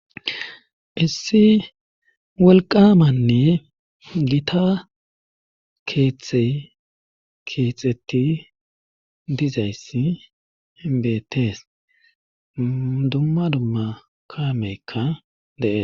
issi wolqamanne gita keeththey keexetti dizayssi ebetees dumma dumma kaameykka dee